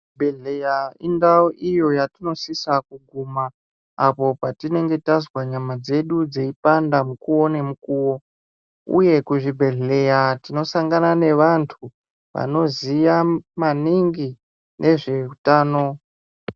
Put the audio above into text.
Chibhedhlera indau iyo yatinosisa kuguma apo petinenge tazwa nyama dzedu dzeipanda mukuwo nemukuwo uye kuzvibhedhlera tinosangana nevantu vanoziya maningi nezveutano.